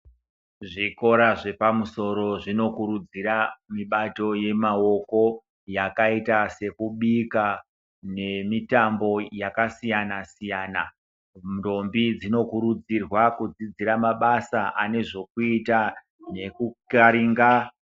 Zvikora zvepamusoro zvinokurudzira mibato yemaoko yakaita sekubika nemitambo yakasiyana siyana ndombi dzinokurudzirwa kudzidzira mabasa ane zvokuita nekukaringa.